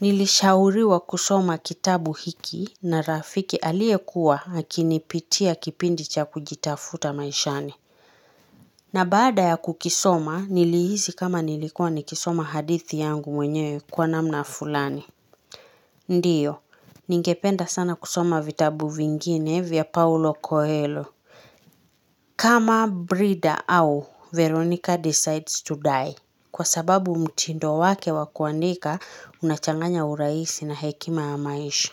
Nilishauriwa kusoma kitabu hiki na rafiki alie kuwa hakinipitia kipindi cha kujitafuta maishani na baada ya kukisoma nilihisi kama nilikuwa ni kisoma hadithi yangu mwenye kwa namna fulani Ndiyo, ningependa sana kusoma vitabu vingine vya paulo koelo kama brida au, Veronica decides to die Kwa sababu mtindo wake wakuandika unachanganya uraisi na hekima amaisha.